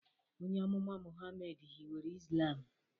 Onye amụma Muhammad hiwere Islam.